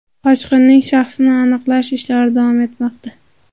Qochqinning shaxsini aniqlash ishlari davom etmoqda.